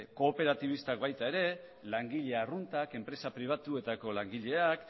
kooperatibistek baita ere langile arruntek enpresa pribatuetako langileek